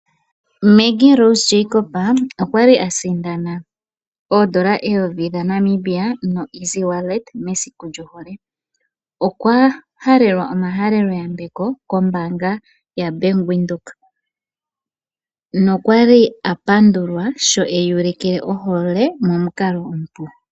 Maggie Rose Jacob okwa li a sindana, oondola eyovi dhaNamibia noEasy Wallet mesiku lyohole. Okwa halelwa omahalelo yambeko kombaanga yaBank Windhoek, nokwa li a pandulwa sho eyi ulikile ohole momukalo omupu.